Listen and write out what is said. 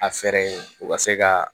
A fɛɛrɛ ye u ka se ka